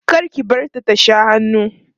kar ki bari ta Sha hannu